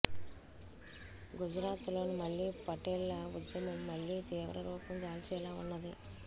గుజరాత్ లో మళ్లీ పటేళ్ల ఉద్యమం మళ్లీ తీవ్రరూపం దాల్చేలా ఉన్నది